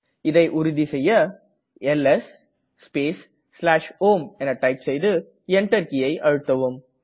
இதை உறுதி செய்ய எல்எஸ் ஸ்பேஸ் home டைப் செய்து Enter கீயை அழுத்தவும்